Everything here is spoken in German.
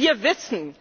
Wir wissen,